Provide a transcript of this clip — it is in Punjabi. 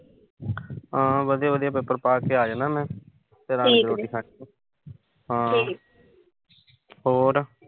ਹਾਂ ਵਧੀਆ-ਵਧੀਆ ਪੇਪਰ ਪਾ ਕੇ ਆ ਜਾਣਾ ਮੈਂ। ਹੋਰ